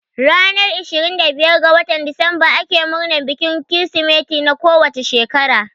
Ranar ishirin da biyar ga watan disemba ake murnan bikin Kirsimeti na kowane shekara